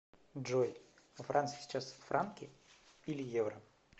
джой во франции сейчас франки или евро